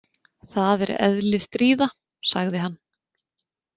Það er eðli stríða, sagði hann.